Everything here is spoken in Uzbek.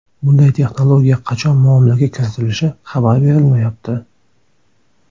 Bunday texnologiya qachon muomalaga kiritilishi xabar berilmayapti.